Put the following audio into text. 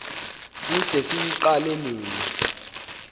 kude siwuqale nini